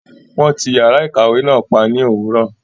Wọn tí yàrá ìkàwé náà pa ní òwúrọ̀.